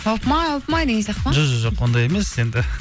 опмай опмай деген сияқты ма жо жо жоқ ондай емес енді